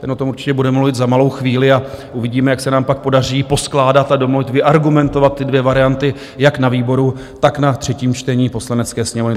Ten o tom určitě bude mluvit za malou chvíli a uvidíme, jak se nám pak podaří poskládat a domluvit, vyargumentovat ty dvě varianty jak na výboru, tak na třetím čtení Poslanecké sněmovny.